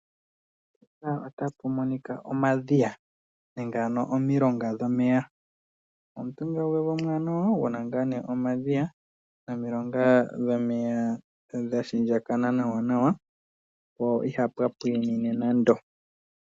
Mpaka otapu monika omadhiya nenge omilonga ndhono dhomeya. Omutungilo omuwanawa guna omadhiya nomilonga dhomeya dhapindjakana nawa nawa po ihapu pwinine nando.